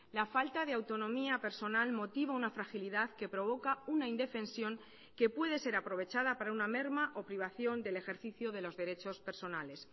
la falta de autonomía personal motiva una fragilidad que provoca una indefensión que puede ser aprovechada para una merma o privación del ejercicio de los derechos personales